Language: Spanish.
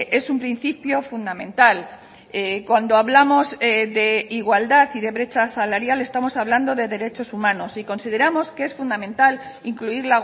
es un principio fundamental cuando hablamos de igualdad y de brecha salarial estamos hablando de derechos humanos y consideramos que es fundamental incluir